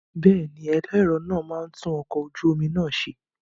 Bẹ́ẹ̀ni, ẹlẹ́rọ náà máa tún ọkọ̀ ojú omi náà ṣe.